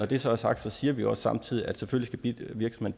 det så er sagt siger vi også samtidig at selvfølgelig skal